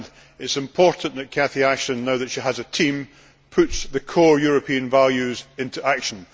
It is important that Catherine Ashton, now that she has a team, puts the core European values into action.